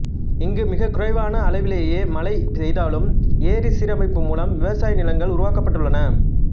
இங்கு மிகக்குறைவான அளவிலேயே மழை பெய்தாலும் ஏரி சீரமைப்பு மூலம் விவசாய நிலங்கள் உருவாக்கப்பட்டுள்ளன